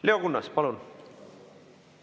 Leo Kunnas, palun!